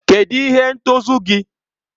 Kedụ ihe ntozu gị?